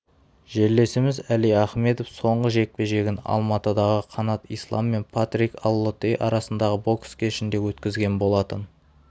жерлесіміз әли ахмедов соңғы жекпе-жегін алматыдағы қанат ислам мен патрик аллотей арасындағы бокс кешінде өткізген болатын